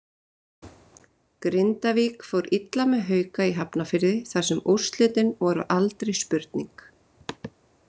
Grindavík fór illa með Hauka í Hafnarfirði þar sem úrslitin voru aldrei spurning.